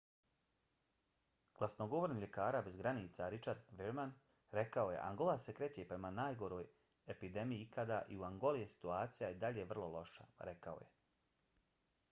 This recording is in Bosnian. glasnogovornik ljekara bez granica richard veerman rekao je: angola se kreće prema svojoj najgoroj epidemiji ikada i u angoli je situacija i dalje vrlo loša rekao je